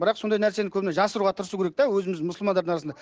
бірақ сондай нәрсені көбіне жасыруға тырысу керек те өзіміздің мұсылмандардың арасында